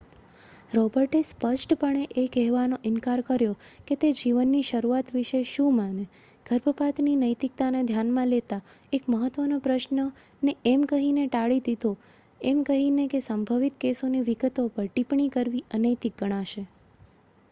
રોબર્ટે સ્પષ્ટપણે એ કહેવાનો ઇનકાર કર્યો કે તે જીવનની શરૂઆત વિશે શું માને ગર્ભપાતની નૈતિકતાને ધ્યાનમાં લેતા એક મહત્ત્વનો પ્રશ્ન ને એમ કહીને ટાળી દીધો એમ કહીને કે સંભવિત કેસોની વિગતો પર ટિપ્પણી કરવી અનૈતિક ગણાશે